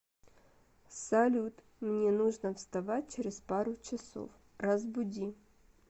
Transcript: салют мне нужно вставать через пару часов разбуди